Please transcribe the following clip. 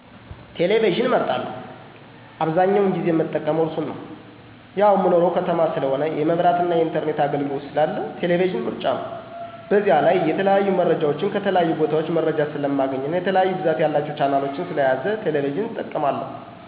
ቴሌቪዥንን እመርጣለሁ። አብዛኛውን ጊዜም ምጠቀመው እሱን ነው። ያው ምኖረው ከተማ ስለሆነ የመብራ የኢንተርኔት አግልግሎት ስላለ ቴሌቪዥን ምርጫ ነው። በዚያ ላይ የተለያዩ መረጃወችን ከተለያዩ ቦታወች መረጃ ስለማገኝበት እና የተለያዩ ብዛት ያላቸውን ቻናሎች ስለያዘ ቴሌቪዥን እጠቀማለሁ።